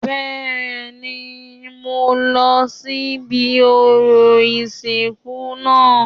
Bẹ́ẹ̀ni, mo lọ sí ibi orò ìsìnkú náà